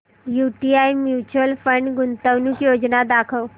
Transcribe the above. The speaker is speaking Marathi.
यूटीआय म्यूचुअल फंड गुंतवणूक योजना दाखव